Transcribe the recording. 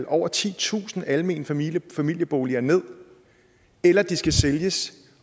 over titusind almene familieboliger ned eller at de skal sælges